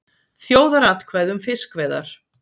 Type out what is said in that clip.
Þjóðaratkvæði um fiskveiðar